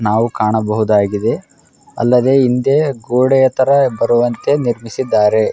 ನಾವು ಕಾಣಬಹುದಾಗಿದೆ ಅಲ್ಲದೆ ಹಿಂದೆ ಗೋಡೆಯ ತರ ಬರುವಂತೆ ನಿರ್ಮಿಸಿದ್ದಾರೆ .